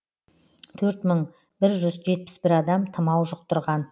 төрт мың бір жүз жетпіс бір адам тымау жұқтырған